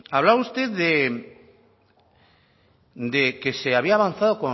hablaba usted de que se había avanzado